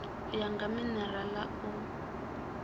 u ya nga minerala u